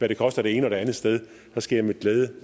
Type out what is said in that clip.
det koster det ene og det andet sted så skal jeg med glæde